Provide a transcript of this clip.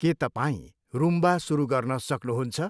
के तपाईँ रुम्बा सुरु गर्न सक्नुहुन्छ?